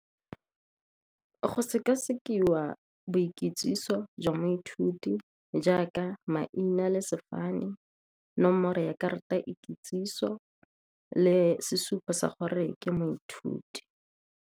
Go sekasekiwa boikitsiso jwa moithuti jaaka maina le sefane, nomoro ya karata ikitsiso le sesupo sa gore ke moithuti.